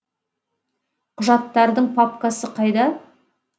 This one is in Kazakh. құжаттардың папкасы қайда